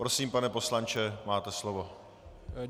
Prosím, pane poslanče, máte slovo.